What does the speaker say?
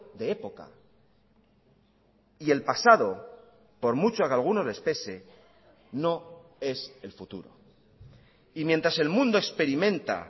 de época y el pasado por mucho que algunos les pese no es el futuro y mientras el mundo experimenta